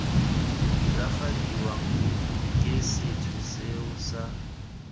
diragadiwang ke sethwe seo sa